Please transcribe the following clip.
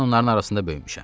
Mən onların arasında böyümüşəm.